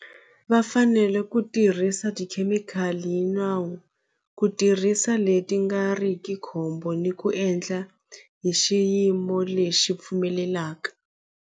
Va fanele ku tirhisa tikhemikhali hi nawu ku tirhisa leti nga ri ki khombo ni ku endla hi xiyimo lexi pfumelelaka.